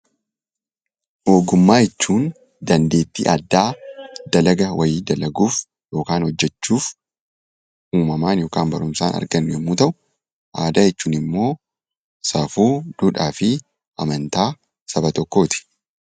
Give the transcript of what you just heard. Ogummaa jechuun dandeettii addaa dalagaa wayii dalaguuf yookaan hojjachuuf uummamaan yookaan barumsaan kan argannu yommuu ta'u aadaa jechuunimmoo safuu duudhaafi amantaa saba tokkooti